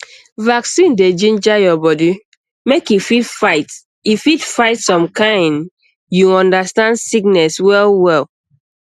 vaccine dey ginger your body make e fit fight e fit fight some kind you understand sickness wellwell